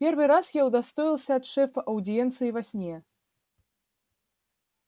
первый раз я удостоился от шефа аудиенции во сне